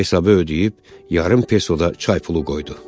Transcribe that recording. Hesabı ödəyib yarım pesoda çay pulu qoydu.